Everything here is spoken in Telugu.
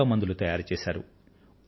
మూలికలతో మందులు తయారు చేశారు